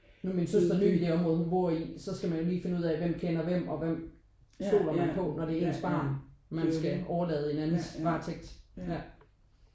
Nu er min søster ny i det område hun bor i så skal man jo lige finde ud af hvem kender hvem og hvem stoler man på når det er ens barn man skal overlade i en andens varetægt ja